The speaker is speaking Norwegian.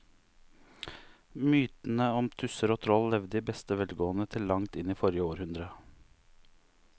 Mytene om tusser og troll levde i beste velgående til langt inn i forrige århundre.